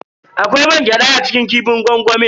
Akwai mangyada a cikin kifin gwangwami.